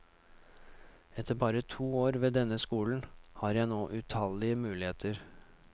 Etter bare to år ved denne skolen har jeg nå utallige muligheter.